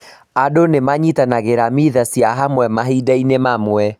Andũ nĩ manyitanagĩra mitha cia hamwe mahinda-inĩ mamwe.